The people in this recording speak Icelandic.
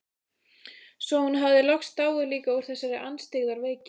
Svo hún hafði loks dáið líka úr þessari andstyggðar veiki.